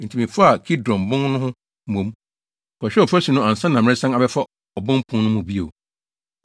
Enti mefaa Kidron Bon no ho mmom, kɔhwɛɛ ɔfasu no ansa na meresan abɛfa Obon Pon no mu bio.